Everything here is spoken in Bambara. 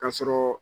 Ka sɔrɔ